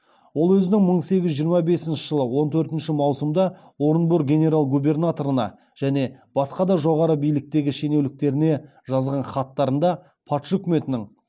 ол өзінің мың сегіз жүз жиырма бесінші жылы он төртінші маусымда орынбор генерал губернаторына және басқа да жоғары биліктегі шенеуніктеріне жазған хаттарында патша өкіметінің